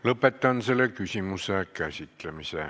Lõpetan selle küsimuse käsitlemise.